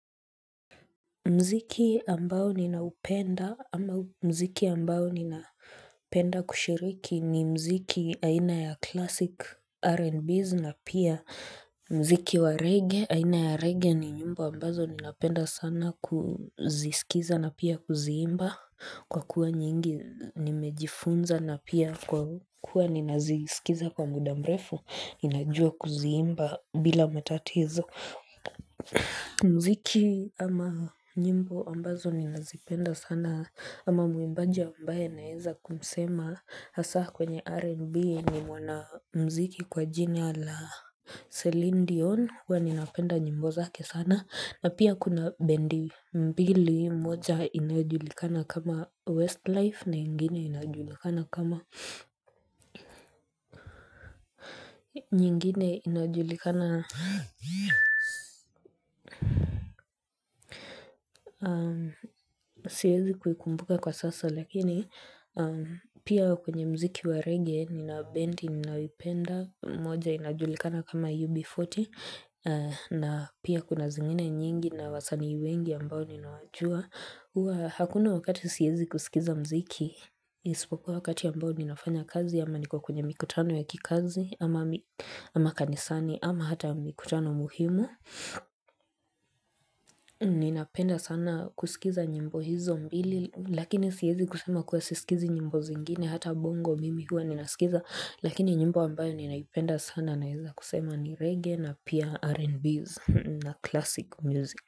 Mziki ambao ninaupenda ama mziki ambao ninapenda kushiriki ni mziki aina ya classic R&Bs na pia mziki wa reggae, aina ya reggae ni nyimbo ambazo ninapenda sana kuzisikiza na pia kuziimba kwa kuwa nyingi nimejifunza na pia kwa kuwa ninazisikiza kwa muda mbefu, ninajua kuziimba bila matatizo. Mziki ama nyimbo ambazo ni nazipenda sana ama muimbaji ambaye naeza kumsema Hasa kwenye RNB ni mwana mziki kwa jini la Celine Dion huwa ninapenda nyimbo zake sana na pia kuna bendi mbili mmoja inajulikana kama Westlife na ingine inajulikana kama nyingine inajulikana na siwezi kuikumbuka kwa sasa lakini pia kwenye mziki wa reggae nina bendi ninayoipenda moja inajulikana kama UB40 na pia kuna zingine nyingi na wasanii wengi ambao ninawajua huwa hakuna wakati siezi kusikiza mziki isipokuwa wakati ambao ninafanya kazi ama niko kwenye mikutano ya kikazi ama ama kanisani ama hata mikutano muhimu Ninapenda sana kusikiza nyimbo hizo mbili Lakini siezi kusema kuwa sisikizi nyimbo zingine Hata bongo mimi huwa ninasikiza Lakini nyimbo ambayo ninaipenda sana Naeza kusema ni reggae na pia R&Bs na classic music.